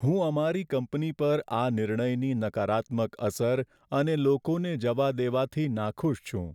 હું અમારી કંપની પર આ નિર્ણયની નકારાત્મક અસર અને લોકોને જવા દેવાથી નાખુશ છું.